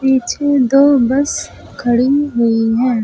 पीछे दो बस खड़ी हुई हैं।